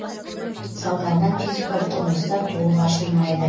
салдарынан физикалық құбылыстар толық ашылмайды